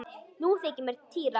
Nú þykir mér týra!